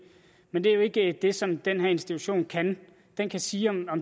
men det er jo ikke det som den her institution kan den kan sige om